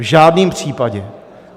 V žádném případě.